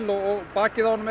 og bakið á honum